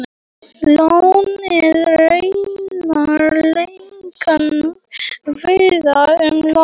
Lón eru raunar algeng víða um land.